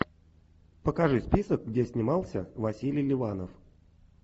покажи список где снимался василий ливанов